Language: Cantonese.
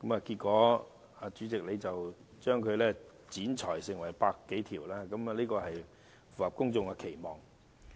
結果，主席把這些修正案剪裁成100多項，這亦符合公眾期望。